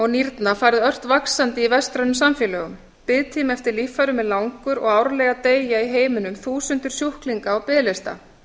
og nýrna farið ört vaxandi í vestrænum samfélögum biðtími eftir líffærum er langur og árlega deyja í heiminum þúsundir sjúklinga á biðlista